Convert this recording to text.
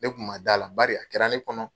Ne tun ma d' a la bari , a kɛra ne kɔnɔ.